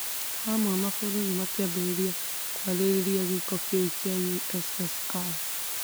Hamwe, mabũrũri makĩambĩrĩria kwarĩrĩria gĩĩko kĩu kĩa USSR